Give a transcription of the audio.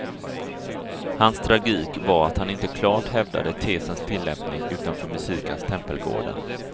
Hans tragik var att han inte klart hävdade tesens tillämpning utanför musikens tempelgårdar.